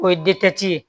O ye ye